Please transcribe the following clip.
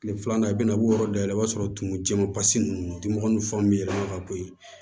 Kile filanan i bɛn'a b'o yɔrɔ dɔ dayɛlɛ o b'a sɔrɔ tumu jɛman basi ninnu dimɔgɔ ninnu fan bɛ yɛlɛma ka bɔ yen